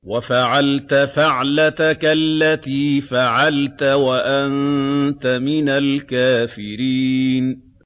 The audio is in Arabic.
وَفَعَلْتَ فَعْلَتَكَ الَّتِي فَعَلْتَ وَأَنتَ مِنَ الْكَافِرِينَ